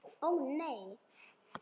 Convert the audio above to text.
Ó, nei.